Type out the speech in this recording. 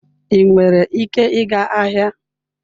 Ị nwere ike ịga ahịa?